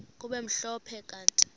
kube mhlophe kanti